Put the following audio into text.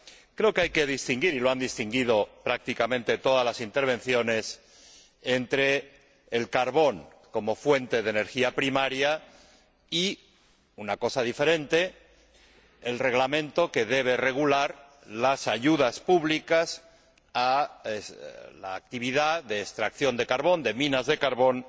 Creo que hay que distinguir y lo han distinguido prácticamente todas las intervenciones entre el carbón como fuente de energía primaria y, una cosa diferente, el reglamento que debe regular las ayudas públicas a la actividad de extracción de carbón de minas de carbón